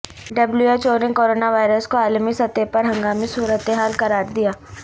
W H O نے coronavirus کو عالمی سطح پر ہنگامی صورتحال قرار دیا